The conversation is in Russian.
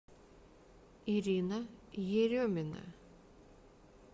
ирина еремина